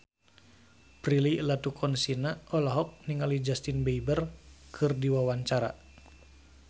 Prilly Latuconsina olohok ningali Justin Beiber keur diwawancara